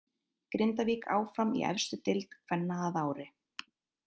Grindavík áfram í efstu deild kvenna að ári.